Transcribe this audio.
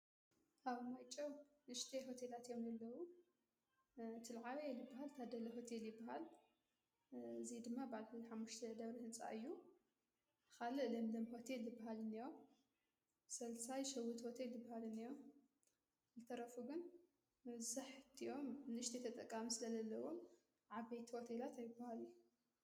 ኣብ ማይጨው ንሽጢ ሆቴላት ዮም ሌለዉ ትልዓበ ኤሊበሃል ታደለ ሁቲ የልበሃል እዙይ ድማ ባልል ሓሽተ ደብሪ ሕፃ እዩ ኻልዕ ለም ለም ሆት ልበሃልነዎም ሠልሳይ ሸዊት ወተይ ድበሃልንእያም ልተረፉ ግን ምንዘሕ ድዮም ንሽት ተጠቃም ስ ለለለዎም ዓበይት ወቴላት ኣይበሃሉ::